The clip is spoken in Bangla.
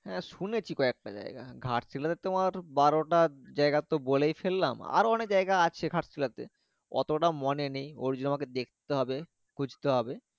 হ্যাঁ শুনেছি ক একটা জায়গা ঘাট শিলা তে তোমার বারো টা জায়গা তো বলে ফেললাম আরো অনেক জায়গা আছে ঘাট শিলাতে অতটা মোনে নেই ওর জন্য আমাকে দেখতে হবে খুঁজতে হবে